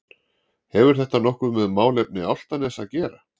Hefur þetta nokkuð með málefni Álftaness að gera?